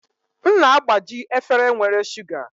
M na-agbaji efere nwere shuga